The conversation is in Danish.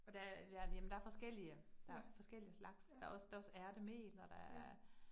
Og der er, ja, jamen der er forskellige der forskellige slags. Der også der også ærtemel, og der er